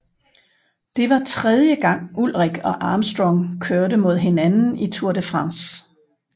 Det var tredje gang Ullrich og Armstrong kørte mod hinanden i Tour de France